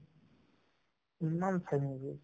ইমান চাই movies